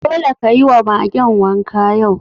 Dole ka yi wa Magen wanka yau!